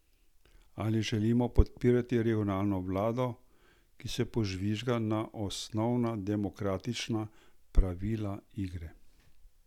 Ali želimo podpirati regionalno vlado, ki se požvižga na osnovna demokratična pravila igre?